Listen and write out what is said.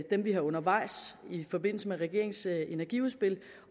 dem vi har undervejs i forbindelse med regeringens energiudspil